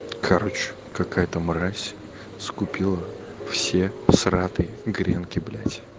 короче какая-то мразь скупила все сратые гренки блять